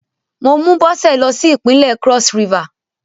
Mo mú Bọ́sẹ̀ lọ sí Ìpínlẹ̀ Cross River.